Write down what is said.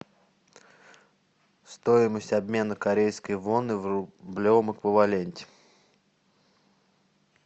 стоимость обмена корейской воны в рублевом эквиваленте